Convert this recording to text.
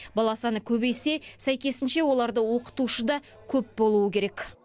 бала саны көбейсе сәйкесінше оларды оқытушы да көп болуы керек